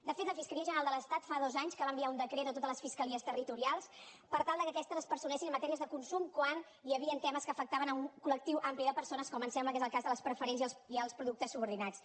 de fet la fiscalia general de l’estat fa dos anys que va enviar un decret a totes les fiscalies territorials per tal que aquestes es personessin en matèries de consum quan hi havien temes que afectaven un col·lectiu ampli de persones com em sembla que és el cas de les preferents i els productes subordinats